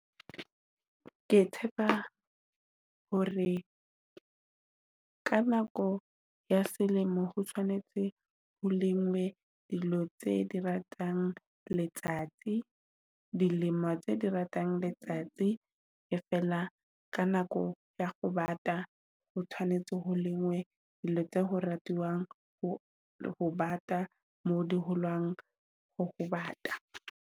Ke tshepa hore ka nako ya selemo ho tshwanetse ho lengwe dilo tse di ratang letsatsi, dilemo tse di ratang letsatsi. E fela ka nako ya ho bata o tshwanetse ho lengwe dilo tsa ho ratiwang ho le ho bata, mo di holang ho bata.